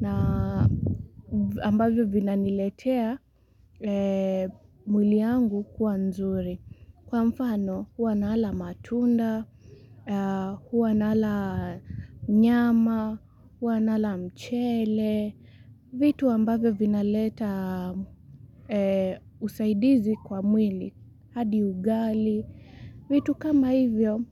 na ambavyo vinaniletea mwili yangu kuwa nzuri. Kwa mfano huwa nala matunda, huwa nala nyama, huwa nala mchele, vitu ambavyo vinaleta usaidizi kwa mwili, hadi ugali, vitu kama hivyo.